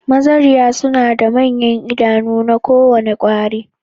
Mazariya suna da manyan idanu na kowane kwari